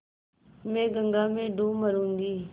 मैं गंगा में डूब मरुँगी